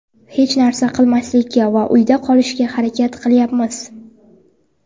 Hech narsa qilmaslikka va uyda qolishga harakat qilyapmiz.